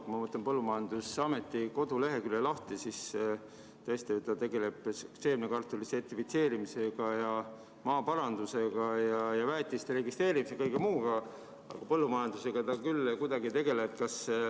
Kui ma võtan põllumajandusameti kodulehekülje lahti, siis ta tegeleb seemnekartuli sertifitseerimisega ja maaparandusega ja väetiste registreerimise ja kõige muuga, aga põllumajandusega ta küll kuidagi ei tegele.